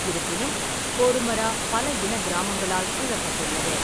இருப்பினும், கோருமரா பல இனக் கிராமங்களால் சூழப்பட்டுள்ளது.